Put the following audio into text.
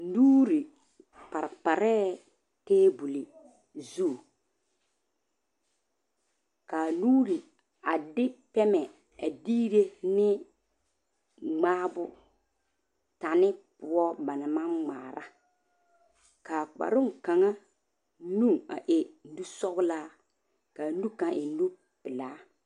Nuuri pareparɛ tabole zu ka nuuri de pɛmɛ deera ŋma bon pane poɔ ba naŋ maŋ ŋmare kaa kpaare kaŋa nu e nu soɔla kaa nu kaŋa e nu pɛle.